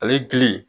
Ale gili